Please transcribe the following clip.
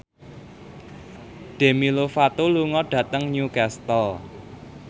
Demi Lovato lunga dhateng Newcastle